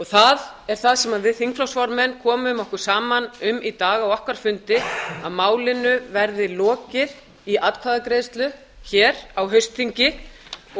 það er það sem við þingflokksformenn komum okkur saman um í dag á okkar fundi að málinu verði lokið í atkvæðagreiðslu á haustþingi